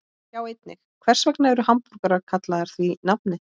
Sjá einnig: Hvers vegna eru hamborgarar kallaðir því nafni?